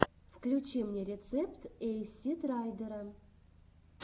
включи мне рецепт эйсид райдера